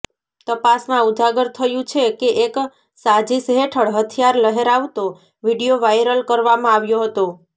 તપાસમાં ઉજાગર થયું છે કે એક સાજિશ હેઠળ હથિયાર લહેરાવતો વીડિયો વાયરલ કરવામાં આવ્યો હતો